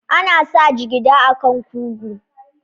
Ana sa jigida a kan kugu.